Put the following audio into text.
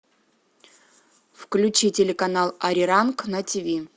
включи телеканал ариранг на тиви